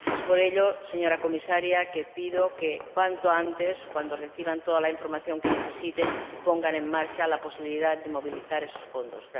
Es por ello, señora Comisaria, le pido que, cuanto antes, cuando reciban toda la información que necesiten, pongan en marcha la posibilidad de movilizar esos fondos.